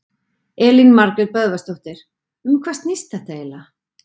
Elín Margrét Böðvarsdóttir: Um hvað snýst þetta eiginlega?